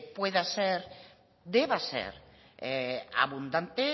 pueda ser deba ser abundante